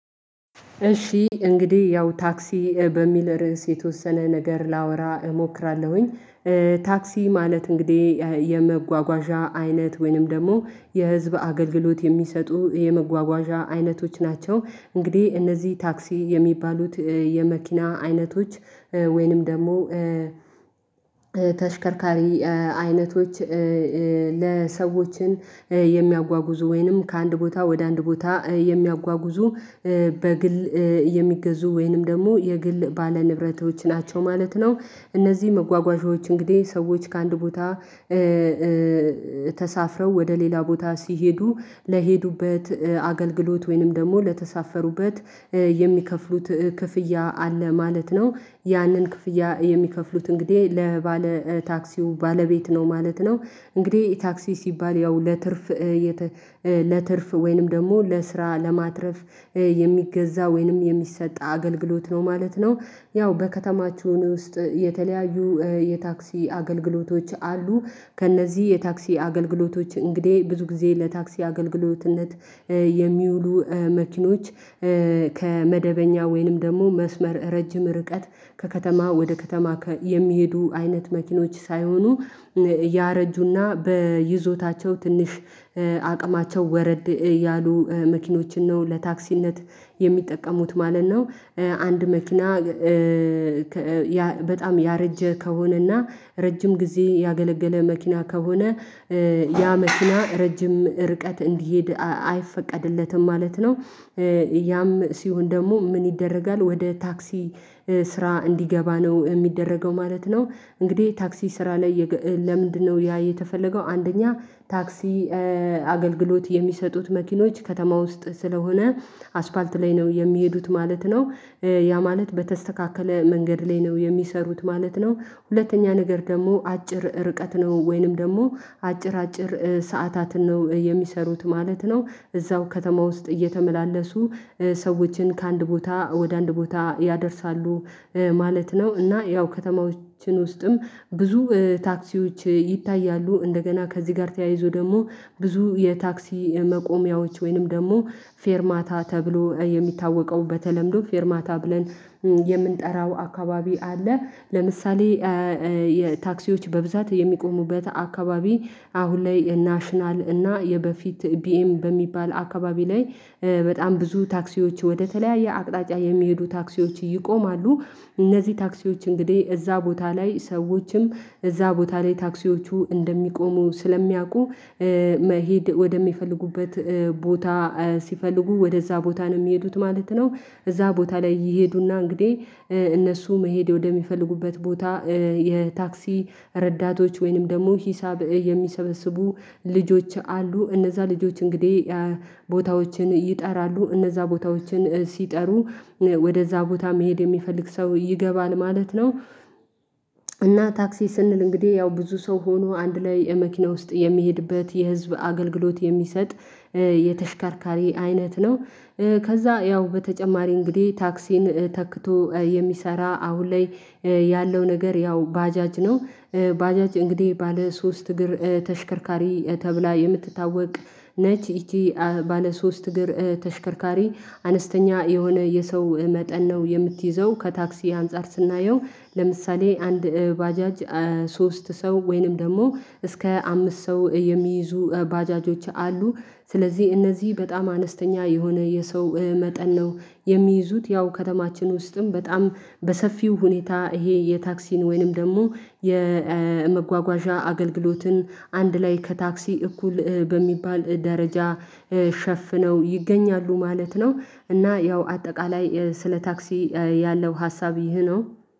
እሺ እንግዲህ ያው ታክሲ በሚል ርዕስ የተወሰነ ነገር ላወራ እሞክራለሁኝ። ታክሲ ማለት እንግዲህ የመጓጓዣ አይነት ወይንም ደግሞ የህዝብ አገልግሎት የሚሰጡ የመጓጓዣ አይነቶች ናቸው። እንግዲህ እነዚህ ታክሲ የሚባሉት የመኪና አይነቶች ወይንም ደግሞ ተሽከርካሪ አይነቶች ለሰዎችን የሚያጓጉዙ ወይንም ከአንድ ቦታ ወደ አንድ ቦታ የሚያጓጉዙ በግል የሚገዙ ወይንም ደግሞ የግል ባለ ንብረቶች ናቸው ማለት ነው። እነዚህ መጓጓዣዎች እንግዲህ ሰዎች ከአንድ ቦታ ኧ ኧ ተሳፍረው ወደ ሌላ ቦታ ሲሄዱ ለሄዱበት አገልግሎት ወይንም ደግሞ ለተሳፈሩበት የሚከፍሉት ክፍያ አለ ማለት ነው። ያንን ክፍያ የሚከፍሉት እንግዲህ ለባለ ታክሲው ባለቤት ነው ማለት ነው። እንግዲህ ታክሲ ሲባል ያው ለትርፍ ለትርፍ ወይንም ደግሞ ለስራ ለማትረፍ የሚገዛ ወይንም የሚሰጥ አገልግሎት ነው ማለት ነው። ያው በከተማቸውን ውስጥ የተለያዩ የታክሲ አገልግሎቶች አሉ። ከእነዚህ የታክሲ አገልግሎቶች እንግዲህ ብዙ ጊዜ ለታክሲ አገልግሎትነት የሚውሉ መኪኖች ከመደበኛ ወይንም ደግሞ መስመር ረጅም ርቀት ከከተማ ወደ ከተማ የሚሄዱ አይነት መኪኖች ሳይሆኑ ያረጁና በይዞታቸው ትንሽ አቅማቸው ወረድ ያሉ መኪኖችን ነው ለታክሲነት የሚጠቀሙት ማለት ነው። አንድ መኪና እ እ በጣም ያረጀ ከሆነና ረጅም ጊዜ ያገለገለ መኪና ከሆነ እ እ ያ መኪና ረጅም ርቀት እንዲሄድ አይፈቀድለትም ማለት ነው። ያም ሲሆን ደግሞ ምን ይደረጋል ወደ ታክሲ ስራ እንዲገባ ነው የሚደረገው ማለት ነው እንግዲህ ታክሲ ስራ ላይ ለምንድነው ያ የተፈለገው አንደኛ ታክሲ አገልግሎት የሚሰጡት መኪኖች ከተማ ውስጥ ስለሆነ አስፋልት ላይ ነው የሚሄዱት ማለት ነው። ያ ማለት በተስተካከለ መንገድ ላይ ነው የሚሰሩት ማለት ነው። ሁለተኛ ነገር ደግሞ አጭር ርቀት ነው ወይንም ደግሞ አጭር አጭር ሰዓታትን ነው የሚሰሩት ማለት ነው። እዛው ከተማ ውስጥ እየተመላለሱ ሰዎችን ከአንድ ቦታ ወደ አንድ ቦታ ያደርሳሉ። ማለት ነው እና ያው ከተማዎችን ውስጥም ብዙ ታክሲዎች ይታያሉ። እንደገና ከዚህ ጋር ተያይዞ ደግሞ ብዙ የታክሲ መቆሚያዎች ወይንም ደግሞ ፌርማታ ተብሎ የሚታወቀው። በተለምዶ ፌርማታ ብለን የምንጠራው አካባቢ አለ። ለምሳሌ የታክሲዎች በብዛት የሚቆሙበት አካባቢ አሁን ላይ የናሽናል እና የበፊት ቢኤም በሚባል አካባቢ ላይ በጣም ብዙ ታክሲዎች ወደተለያየ አቅጣጫ የሚሄዱ ታክሲዎች ይቆማሉ። እነዚህ ታክሲዎች እንግዲህ እዛ ቦታ ላይ ሰዎችም እዛ ቦታ ላይ ታክሲዎቹ እንደሚቆሙ ስለሚያውቁ እ መሄድ ወደሚፈልጉበት ቦታ ሲፈልጉ ወደዛ ቦታ ነው የሚሄዱት ማለት ነው። እዛ ቦታ ላይ ይሄዱና እንግዲህ እነሱ መሄድ ወደሚፈልጉበት ቦታ የታክሲ ረዳቶች ወይንም ደግሞ ሂሳብ የሚሰበስቡ ልጆች አሉ። እነዛ ልጆች እንግዲህ ቦታዎችን ይጠራሉ። እነዛ ቦታዎችን ሲጠሩ ወደዛ ቦታ መሄድ የሚፈልግ ሰው ይገባል ማለት ነው። እና ታክሲ ስንል እንግዲህ ያው ብዙ ሰው ሆኖ አንድ ላይ የመኪና ውስጥ የሚሄድበት የህዝብ አገልግሎት የሚሰጥ የተሽከርካሪ አይነት ነው። ከዛ ያው በተጨማሪ እንግዲህ ታክሲን ተክቶ የሚሰራ አሁን ላይ ያለው ነገር ያው ባጃጅ ነው። ባጃጅ እንግዲህ ባለ ሶስት እግር ተሽከርካሪ ተብላ የምትታወቅ ነች። ይቺ ባለ ሶስት እግር ተሽከርካሪ አነስተኛ የሆነ የሰው መጠን ነው የምትይዘው ከታክሲ አንፃር ስናየው። ለምሳሌ አንድ ባጃጅ ሶስት ሰው ወይንም ደግሞ እስከ አምስት ሰው የሚይዙ ባጃጆች አሉ። ስለዚህ እነዚህ በጣም አነስተኛ የሆነ የሰው መጠን ነው። የሚይዙት ያው ከተማችን ውስጥም በጣም በሰፊው ሁኔታ ይሄ የታክሲን ወይንም ደግሞ የመጓጓዣ አገልግሎትን አንድ ላይ ከታክሲ እኩል በሚባል ደረጃ ሸፍነው ይገኛሉ ማለት ነው። እና ያው አጠቃላይ ስለ ታክሲ ያለው ሀሳብ ይሄ ነው።